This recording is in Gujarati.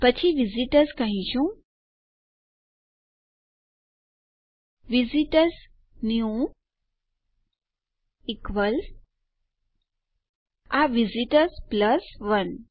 અને પછી આપણે વિઝિટર્સ કહીશું visit ઓઆરએસ ન્યૂ ઇક્વલ્સ આ વિસ્ટોર્સ પ્લસ 1